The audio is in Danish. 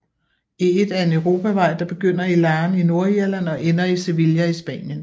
E1 er en europavej der begynder i Larne i Nordirland og ender i Sevilla i Spanien